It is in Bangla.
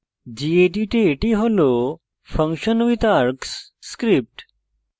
gedit এ এটি হল functionwithargs script